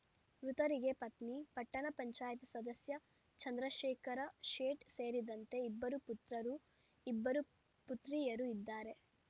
ಮೃತರಿಗೆ ಪತ್ನಿ ಪಟ್ಟಣ ಪಂಚಾಯಿತಿ ಸದಸ್ಯ ಚಂದ್ರಶೇಖರ ಶೇಟ್‌ ಸೇರಿದಂತೆ ಇಬ್ಬರು ಪುತ್ರರು ಇಬ್ಬರು ಪುತ್ರಿಯರು ಇದ್ದಾರೆ